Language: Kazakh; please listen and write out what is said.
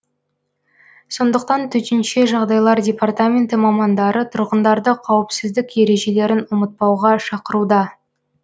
сондықтан төтенше жағдайлар департаменті мамандары тұрғындарды қауіпсіздік ережелерін ұмытпауға шақыруда